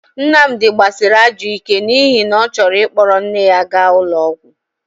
Nnamdi gbasịrị ajọ ike n'ihi na ọ chọrọ ịkpọrọ nne ya ga ụlọ ọgwọ..